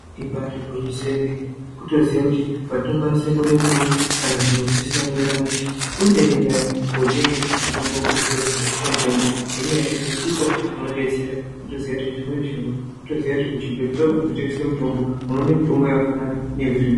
Ibaari gwinyiso yemene kutoziya kuti kwatinokwanise kuone mitombo kana zviro zvisina kumira mushe kuenda iyona iyo kootenge mitombo kuzvitoro zvinotengeswe mitombo ngenyaya yekuti ndiko kunodetsera. Kutoziya kuti zvimweni zviro kutoziya kuti kuzvitoro zvinotengeswe mitombo, unoone mitombo yakafanana neyekuzvibhehlera.